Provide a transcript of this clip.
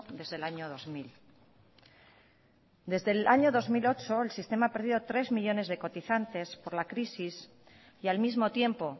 desde el año dos mil desde el año dos mil ocho el sistema ha perdido tres millónes de cotizantes por la crisis y al mismo tiempo